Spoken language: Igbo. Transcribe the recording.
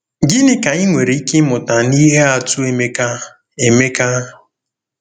Gịnị ka anyị nwere ike ịmụta n’ihe atụ Emeka? Emeka?